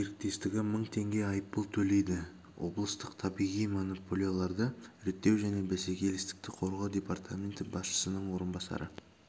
серіктестігі мың теңге айыппұл төлейді облыстық табиғи монополияларды реттеу және бәсекелестікті қорғау департаменті басшысының орынбасары